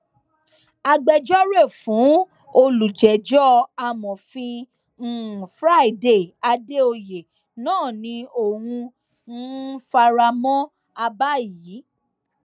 agbẹjọrò fún olùjẹjọ amọfin um friday àdèoyè náà ni òun um fara mọ àbá yìí